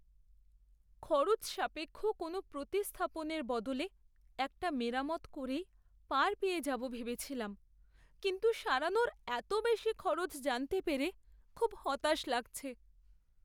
খরচসাপেক্ষ কোনও প্রতিস্থাপনের বদলে একটা মেরামত করেই পার পেয়ে যাবো ভেবেছিলাম, কিন্তু সারানোর এত বেশি খরচ জানতে পেরে খুব হতাশ লাগছে।